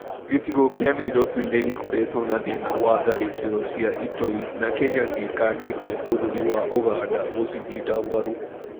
Gĩcigo kĩa Nairobi nĩ gĩkoretwo na thĩna wa tharĩkĩro cia itoi na Kenya nĩĩkanĩtie bũrũri wa Uganda gũcinyita mbaru.